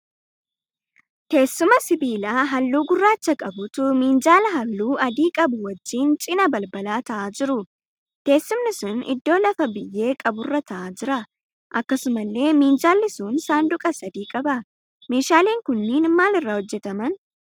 Teessuma sibiilaa halluu gurraacha qabutu minjaala halluu adii qabu wajjin cina balbalaa ta'aa jiru. Teessumni sun iddoo lafa biyyee qaburra ta'aa jira. Akkasumallee minjaalli sun saanduqa sadii qaba. Meeshaaleen kunniin maal irraa hojjetaman?